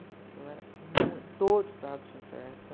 Eu era muito... Todo sábado tinha festa.